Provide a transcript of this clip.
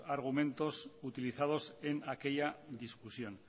argumentos utilizados en aquella discusión